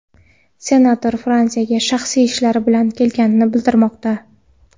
Senator Fransiyaga shaxsiy ishlari bilan kelgani bildirilmoqda.